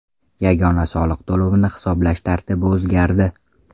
Yagona soliq to‘lovini hisoblash tartibi o‘zgardi.